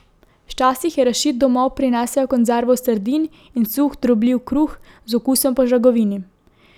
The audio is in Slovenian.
Včasih je Rašid domov prinesel konzervo sardin in suh drobljiv kruh z okusom po žagovini.